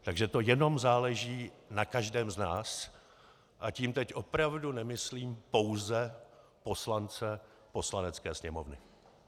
Takže to jenom záleží na každém z nás - a tím teď opravdu nemyslím pouze poslance Poslanecké sněmovny.